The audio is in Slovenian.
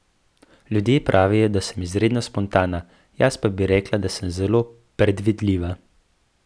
Ljudje pravijo, da sem izredno spontana, jaz pa bi rekla, da sem zelo predvidljiva.